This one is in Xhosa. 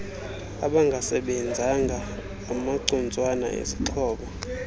abangasebenzanga amacutswana ezixhobo